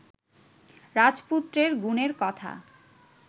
রাজপুত্রের গুণের কথা